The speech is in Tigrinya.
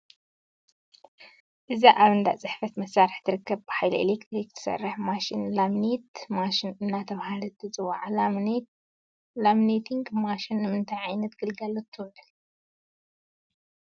እዛ ኣብ እንዳ ፅሕፈት መሳርሒ ትርከብ ብሓይሊ ኤሌክትሪክ ትሰርሕ ማሽን ላሚኔቲን ማሽን እናተባህለት ትፅዋዕ፡፡ ላሚኔቲንግ ማሽን ንምንታይ ዓይነት ግልጋሎት ትውዕል?